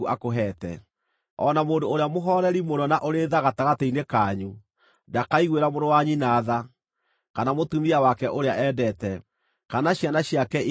O na mũndũ ũrĩa mũhooreri mũno na ũrĩ tha gatagatĩ-inĩ kanyu ndakaiguĩra mũrũ wa nyina tha, kana mũtumia wake ũrĩa endete, kana ciana ciake iria itigaire,